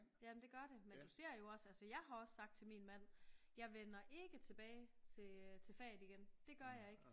Ja men det gør det men du ser jo også altså jeg har også sagt til min mand jeg vender ikke tilbage til øh til faget igen det gør jeg ikke